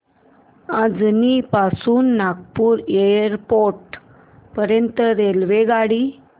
अजनी पासून नागपूर एअरपोर्ट पर्यंत रेल्वेगाडी